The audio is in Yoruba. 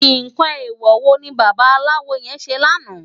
Nkán éwò wó ni bàbàláwó yèn sé làná?